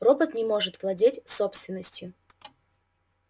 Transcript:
робот не может владеть собственностью